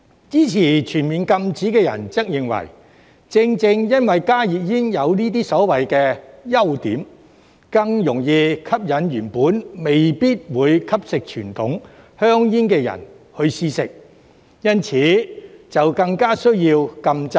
支持全面禁止的人則認為，正正因為加熱煙有這些所謂的"優點"，更容易吸引原本未必會吸食傳統香煙的人試食，因此更加需要禁制。